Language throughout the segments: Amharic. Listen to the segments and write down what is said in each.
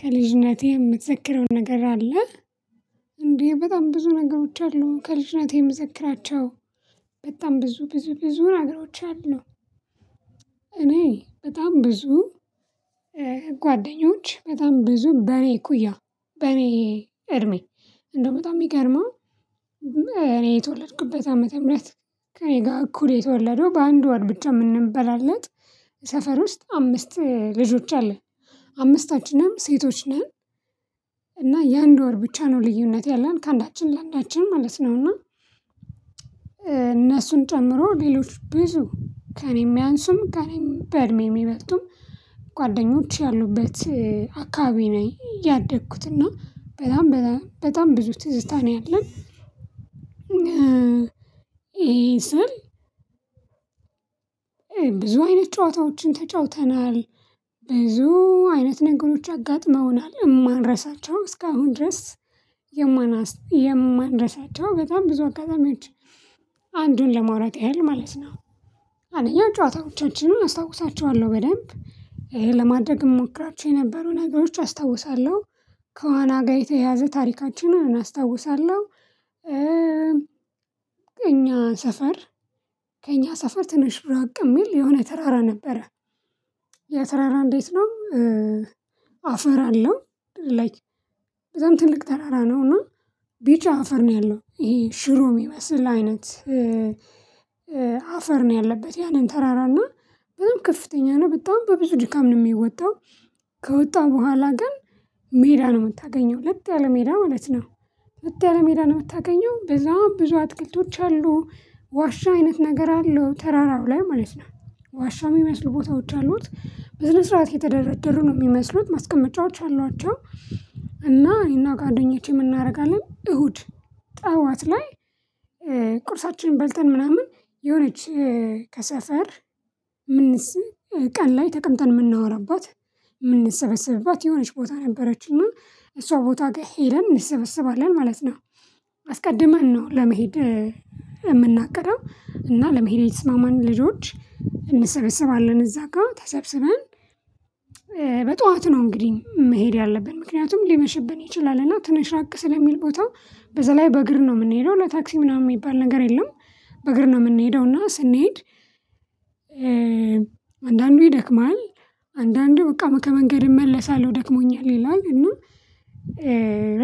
ከልጅነቴ የምትዘክረው ነገር አለ? እንዴ በጣም ብዙ ነገሮች አሉ ከልጅነቴ የመዘክራቸው በጣም ብዙ ብዙ ብዙ ነገሮች አሉ፤ እኔ በጣም ብዙ ጓደኞች በጣም ብዙ በኔ እኩያ በኔ እድሜ እንደው በጣም የሚገርመው እኔ የተወለድኩበት ዓመተ ምህረት ከእኔ ጋር እኩል የተወለደው በአንድ ወር ብቻ የምንበላለጥ ሰፈር ውስጥ አምስት ልጆች አለን፤ አምስታችንም ሴቶች ነን እና የአንድ ወር ብቻ ነው ልዩነት ያለን ከአንዳችን ለአንዳችን ማለት ነው እና እነሱን ጨምሮ ሌሎች ብዙ ከእኔ የሚያንሱም ከእኔ በእድሜ የሚበጡም ጓደኞች ያሉበት አካባቢ ነው ያደግኩት እና በጣም በጣም ብዙ ትዝታ ነው ያለን ይሄ ስል ብዙ አይነት ጨዋታዎችን ተጫውተናል ብዙ አይነት ነገሮች አጋጥመውናል የማንረሳቸው እስካሁን ድረስ የማናስ የማንረሳቸው በጣም ብዙ አጋጣሚዎች አንዱን ለማውራት ያህል ማለት ነው አንደኛ ጨዋታዎቻችንን እናስታውሳቸዋለሁ በደንብ ይሄን ለማድረግ እሞክራቸው የነበሩ ነገሮች አስታውሳለሁ ከዋና ጋር የተያያዘ ታሪካችንን እናስታውሳለሁ ከእኛ ሰፈር ከእኛ ሰፈር ትንሽ ብርአቅ የሚል የሆነ ተራራ ነበረ ያ ተራራ እንዴት ነው አፈር አለው ላይክ በዛም ትልቅ ተራራ ነው እና ቢጫ አፈር ነው ያለው ይሄ ሽሮ ይመስል አይነት አፈር ነው ያለበት ያንን ተራራ እና በጣም ከፍተኛ ነው በጣም በብዙ ድካም ነው የሚወጣው ከወጣን በኋላ ግን ሜዳ ነው የምታገኘው ለጥ ያለ ሜዳ ማለት ነው ለጥ ያለ ሜዳ ነው የምታገኘው በዛም ብዙ አትክልቶች አሉ ዋሻ አይነት ነገር አለው ተራራው ላይ ማለት ነው ዋሻው የሚመስሉ ቦታዎች አሉት በስነ ስርዓት የተደረደሩ ነው የሚመስሉት ማስቀመጫዎች አሏቸው እና እኔና ጋር ጓደኞቼ ምን እናደርጋለን እሁድ ጠዋት ላይ ቁርሳችንን በልተን ምናምን የሆነች ከሰፈር ምንስ ቀን ላይ ተቀምጠን የምናወራባት የምንሰበሰብባት የሆነች ቦታ ነበረችና እሷ ቦታ ጋር ሄደን እንሰበስባለን ማለት ነው አስቀድመን ነው ለመሄድ የምናቅደው እና ለመሄድ የተስማማን ልጆች እንሰበስባለን እዛ ጋር ተሰብስበን በጧት ነው እንግዲህ መሄድ ያለብን ምክንያቱም ሊመሽብን ይችላል እና ትንሽ ራቅ ስለሚል ቦታው በዛ ላይ በእግር ነው የምንሄደው ለታክሲ ምናምን የሚባል ነገር የለም በእግር ነው የምንሄደው እና ስንሄድ አንዳንዱ ይደክማል አንዳንዱ በቃ ከመንገድ እመለሳለሁ ደክሞኛል ይላል እና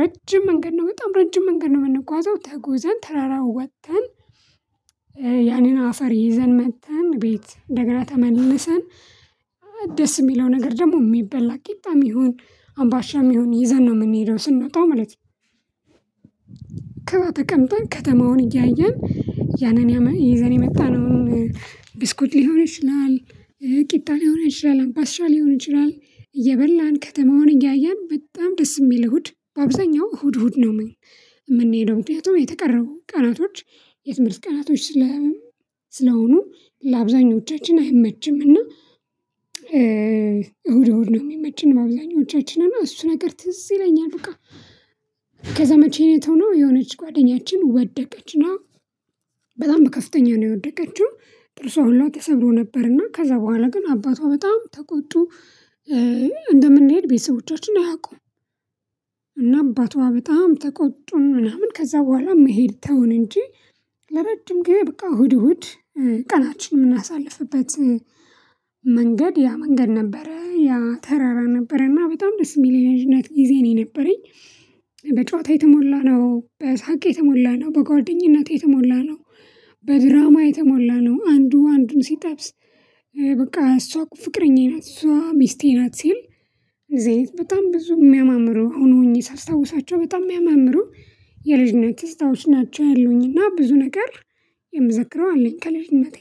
ረጅም መንገድ ነው በጣም ረጅም መንገድ ነው የምንጓዘው ተጎዘን ተራራውን ወጥተን ያኔን አፈር ይዘን መጥተን ቤት እንደገና ተመልሰን ደስ የሚለው ነገር ደግሞ የሚበላ ቂጣም ይሁን አምባሻም ይሁን ይዘን ነው የምንሄደው ስንወጣው ማለት ነው፤ ከዛ ተቀምጠን ከተማውን እያየን ያንን ይዘን የመጣነውን ብስኩት ሊሆን ይችላል ቂጣን ሊሆን ይችላል አምባሻ ሊሆን ይችላል፤ እየበላን ከተማውን እያየን በጣም ደስ የሚል እሁድ በአብዛኛው እሁድ እሁድ ነው የምንሄደው ምክንያቱም የቀረቡ ቀናቶች የትምህርት ቀናቶች ስለ ስለሆኑ ለአብዛኞቻችን አይመችምና እሁድ እሁድ ነው የሚመችን ለአብዛኞቻችን እና እሱ ነገር ትዝ ይለኛል በቃ ከዛ መቼን ነው የተውነው የሆነች ጓደኛችን ወደቀች እና በጣም በከፍተኛ ነው የወደቀችው ጥርሷ ሁላ ተሰብሮ ነበርና ከዛ በኋላ ግን አባቷ በጣም ተቆጡ እንደምንሄድ ቤተሰቦቻችን አያውቁም እና አባቷ በጣም ተቆጡን ምናምን ከዛ በኋላ መሄድ ተውን እንጂ ለረጅም ጊዜ በቃ እሁድ እሁድ ቀናችን የምናሳልፍበት መንገድ ያ መንገድ ነበረ ያ ተራራ ነበረ እና በጣም ደስ የሚል የልጅነት ጊዜ ነው የነበረኝ በጨዋታ የተሞላ ነው በሳቅ የተሞላ ነው በጓደኝነት የተሞላ ነው በድራማ የተሞላ ነው አንዱ አንዱን ሲጠብስ በቃ እሷ ፍቅረኛዬ ናት እሷ ሚስቴ ናት ሲል እዚህ አይነት በጣም ብዙ የሚያማምሩ አሁን ሆኘ ሳስታውሳቸው በጣም የሚያማምሩ የልጅነት ትዝታዎች ናቸው ያሉኝና ብዙ ነገር የምዘክረው አለኝ ከልጅነቴ